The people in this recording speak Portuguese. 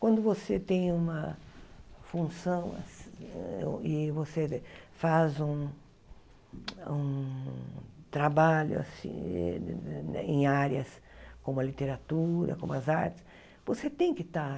Quando você tem uma função assi e você faz um um trabalho assim em áreas como a literatura, como as artes, você tem que estar